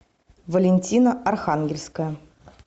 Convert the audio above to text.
валентина архангельская